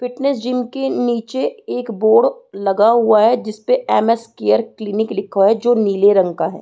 Fitness gym के नीचे एक बोर्ड लगा हुआ है जिस पे एम स केयर क्लिनिक लिखा हुआ है जो नीले रंग का है।